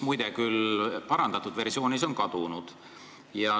Muide, esitluse parandatud versioon on kuhugi kadunud.